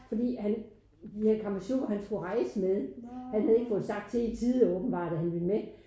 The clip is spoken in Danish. Fordi han de her kammesjukker han skulle rejse med han havde ikke fået sagt til i tide åbenbart at han ville med